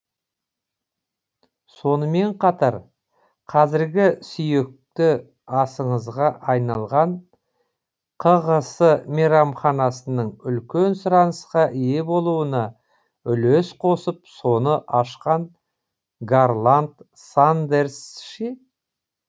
сонымен қатар қазіргі сүйікті асыңызға айналған кғс мейрамханасының үлкен сұранысқа ие болуына үлес қосып соны ашқан гарланд сандерс ше